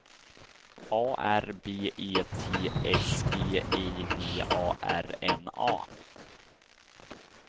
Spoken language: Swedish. A R B E T S G I V A R N A